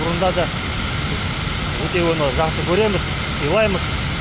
бұрында да біз өте оны жақсы көреміз сыйлаймыз